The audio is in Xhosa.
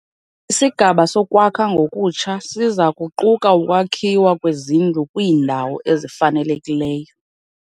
Isigaba sokwakha ngokutsha siza kuquka ukwakhiwa kwezindlu kwiindawo ezifanelekileyo.